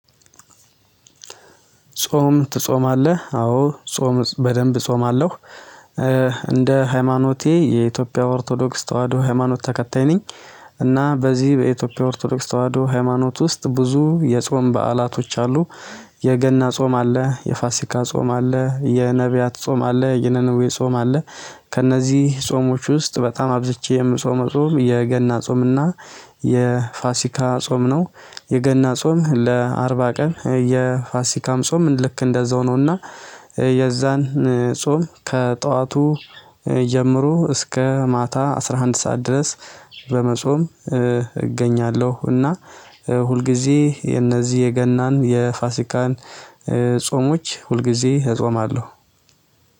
ጾም ትጾማለህ? አዎ ጾም በደንብ እጾማለሁ። እንደ ሃይማኖቴ የኢትዮጵያ ኦርቶዶክስ ተዋህዶ ሃይማኖት ተከታይ ነኝ። እና በዚህ በኢትዮጵያ ኦርቶዶክስ ተዋህዶ ሃይማኖት ውስጥ ብዙ የጾም በዓላቶች አሉ። የገና ጾም አለ የፋሲካ ጾም አለ የነቢያት ጾም አለ የነነዌ ጾም አለ። ከእነዚህ ጾሞች ውስጥ በጣም አብዝቼ የምጾመው ጾም የገና ጾምና የፋሲካ ጾም ነው። የገና ጾም ለአርባ ቀን የፋሲካም ጾም ልክ እንደዛው ነው እና የዛን ጾም ከጠዋቱ ጀምሮ እስከ ማታ አስራ አንድ ሰዓት ድረስ በመጾም እገኛለሁ። እና ሁልጊዜ የነዚህ የገናን የፋሲካን ጾሞች ሁልጊዜ እጾማለሁ።